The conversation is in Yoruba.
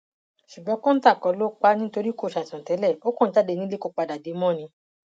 ṣùgbọn kọńtà kọ ló pa á nítorí kò ṣàìsàn tẹlẹ ó kàn jáde nílé kó padà dé mọ ni